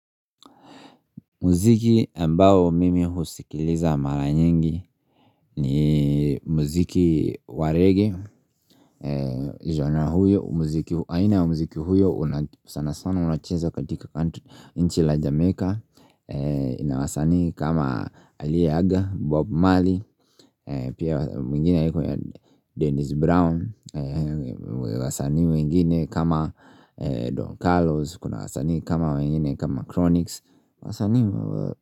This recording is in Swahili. Muziki ambao mimi husikiliza mara nyingi ni muziki wa reggae Genre huyo, aina ya muziki huyo, sana sana unacheza katika nchi la Jamaica. Ina wasanii kama aliyeaga, Bob Marley, pia mwingine anaitwa Dennis Brown wasanii wengine kama Don Carlos, kuna wasanii kama wengine kama Chronix, wasanii.